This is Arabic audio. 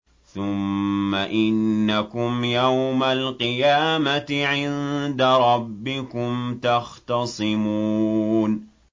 ثُمَّ إِنَّكُمْ يَوْمَ الْقِيَامَةِ عِندَ رَبِّكُمْ تَخْتَصِمُونَ